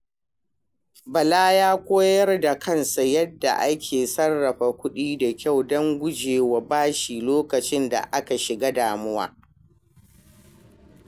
Bala ya koyar da kansa yadda ake sarrafa kudi da kyau don guje wa bashi lokacin da aka shiga damuwa.